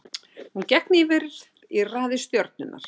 Hún gekk nýverið í raðir Stjörnunnar.